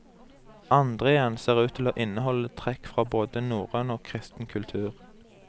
Andre igjen ser ut til å inneholde trekk fra både norrøn og kristen kultur.